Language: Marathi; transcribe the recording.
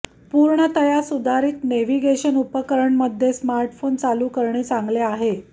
पूर्णतया सुधारीत नेव्हिगेशन उपकरणमध्ये स्मार्टफोन चालू करणे चांगले आहे